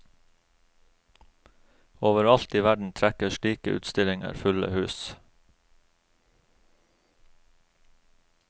Overalt i verden trekker slike utstillinger fulle hus.